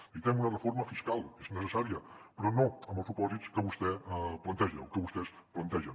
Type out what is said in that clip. necessitem una reforma fiscal és necessària però no en els supòsits que vostè planteja o que vostès plantegen